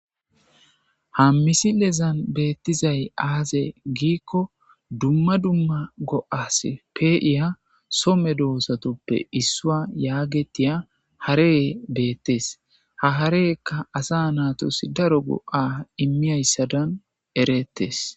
Ha misilezan beettizay aaze giikko dumma dumma go7as pe7iya some dohosatoppe issua yaagetiya hareye beettes ha hareyekka asa naatos daro go7a immiyayssadan erettes